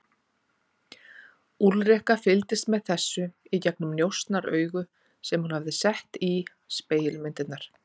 Úlrika fylgdist með þessu í gegnum njósnaaugu sem hún hafði sett í spegilmyndirnar.